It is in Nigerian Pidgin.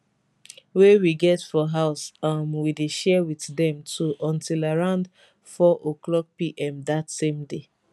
wey we get for house um we share wit dem too until around 400pm dat same day